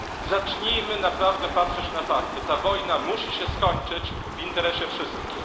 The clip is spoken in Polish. Zacznijmy naprawdę patrzeć na fakty, ta wojna musi się skończyć w interesie wszystkich.